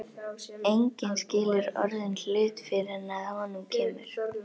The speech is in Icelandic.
Enginn skilur orðinn hlut fyrr en að honum kemur.